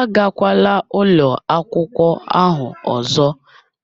Agakwala ụlọ akwụkwọ ahụ ọzọ